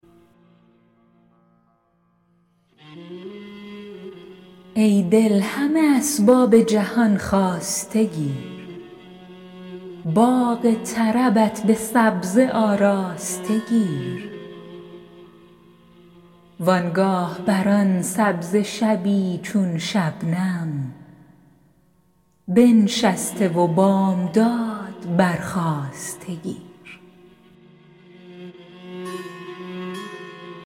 ای دل همه اسباب جهان خواسته گیر باغ طربت به سبزه آراسته گیر و آنگاه بر آن سبزه شبی چون شبنم بنشسته و بامداد برخاسته گیر